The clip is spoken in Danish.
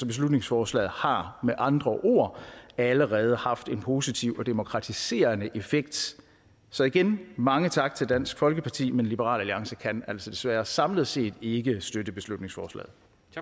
beslutningsforslaget har med andre ord allerede haft en positiv og demokratiserende effekt så igen mange tak til dansk folkeparti men liberal alliance kan altså desværre samlet set ikke støtte beslutningsforslaget